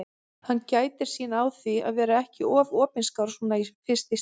Hann gætir sín á því að vera ekki of opinskár svona fyrst í stað.